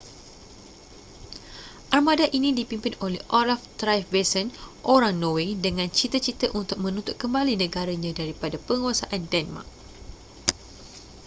armada ini dipimpin oleh olaf trygvasson orang norway dengan cita-cita untuk menuntut kembali negaranya daripada penguasaan denmark